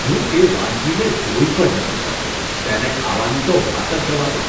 હું તે વાનગીને જોઈ પણ નથી શકતો, તેને ખાવાની તો વાત જ જવા દો.